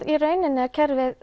í rauninni er kerfið